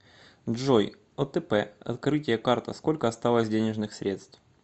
джой отп открытие карта сколько осталось денежных средств